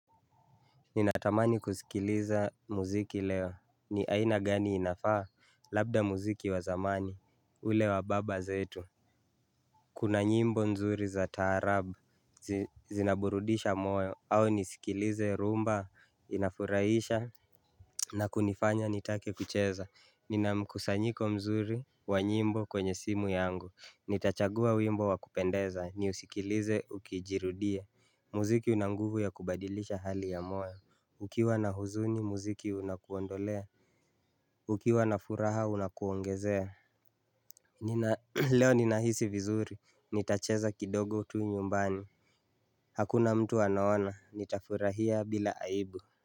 Ninatamani kusikiliza mziki leo. Ni aina gani inafaa? Labda mziki wa zamani, ule wa baba zetu. Kuna nyimbo nzuri za taarabu. Zinaburudisha moyo. Au nisikilize rumba? Inafuraisha. Na kunifanya nitake kucheza. Nina mkusanyiko mzuri wa nyimbo kwenye simu yangu. Nitachagua wimbo wakupendeza niusikilize ukijirudia. Mziki una nguvu ya kubadilisha hali ya moyo. Ukiwa na huzuni mziki unakuondolea. Ukiwa na furaha unakuongezea. Nina leo ninahisi vizuri. Nitacheza kidogo tu nyumbani. Hakuna mtu anaona. Nitafurahia bila aibu.